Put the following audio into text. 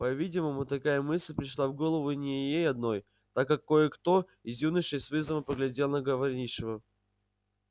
по-видимому такая мысль пришла в голову не ей одной так как кое-кто из юношей с вызовом поглядел на говорившего